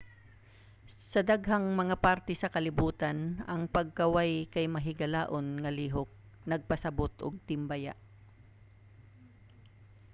sa daghang mga parte sa kalibutan ang pagkaway kay mahigalaon nga lihok nagpasabot og timbaya.